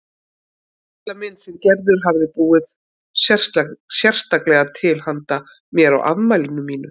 Litla mynd sem Gerður hafði búið sérstaklega til handa mér á afmælinu mínu.